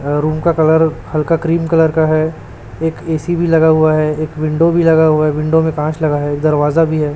अं room का colour हल्का cream colour का है एक ए_सी भी लगा हुआ है एक विंडो भी लगा हुआ है विंडो में कांच लगा है दरवाजा भी है।